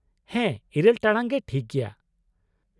- ᱦᱮᱸ, ᱤᱨᱟᱹᱞ ᱴᱟᱲᱟᱝ ᱜᱮ ᱴᱷᱤᱠ ᱜᱮᱭᱟ ᱾